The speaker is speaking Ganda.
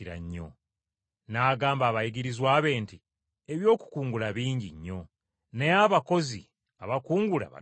N’agamba abayigirizwa be nti, “Eby’okukungula bingi nnyo, naye abakozi abakungula batono.